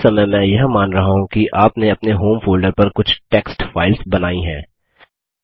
इस समय मैं यह मान रहा हूँ कि आपने अपने होम फोल्डर पर कुछ टेक्स्ट फाइल्स बनायीं हैं